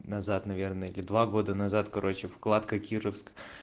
назад наверное или два года назад короче вкладка кировск